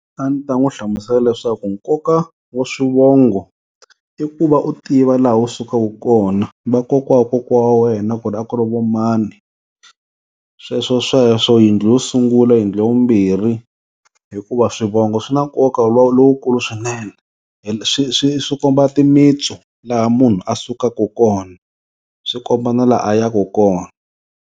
A ndzi ta n'wu hlamusela leswaku nkoka wa swivongo i ku va u tiva laha u sukaka kona vakokwa wa kokwa wena ku ri a ku ri vo mani, sweswosweswo yindlu yo sungula, yindlu ya vumbirhi hikuva swivongo swi na nkoka lowukulu swinene swi swi swi komba timitsu laha munhu a sukaku kona swi komba na laha a yaku kona.